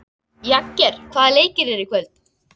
Jagger, hvaða leikir eru í kvöld?